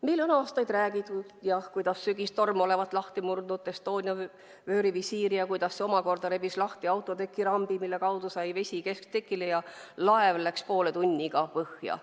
Meile on aastaid räägitud, kuidas sügistorm murdis lahti Estonia vöörivisiiri ja kuidas see omakorda rebis lahti autoteki rambi, mille kaudu sai vesi kesktekile ja laev läks poole tunniga põhja.